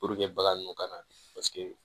bagan ninnu kana